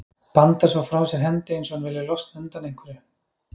Bandar svo frá sér hendi eins og hún vilji losna undan einhverju.